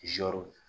Zɔrɔ